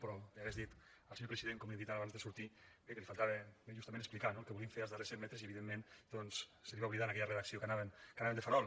però li hagués dit al senyor president com li he dit ara abans de sortir bé que li faltava justament explicar no el que volien fer als darrers cent metres i evidentment doncs se li va oblidar en aquella redacció que anaven de farol